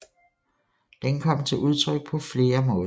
Den kom til udtryk på flere måder